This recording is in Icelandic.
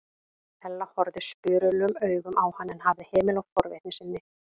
Ella horfði spurulum augum á hann en hafði hemil á forvitni sinni.